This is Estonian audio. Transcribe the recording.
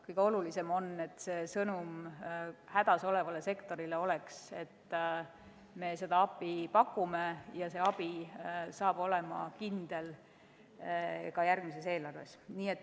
Kõige olulisem on, et sõnum hädas olevale sektorile oleks see, et me pakume abi ja see abi saab olema kindel ka järgmises eelarves.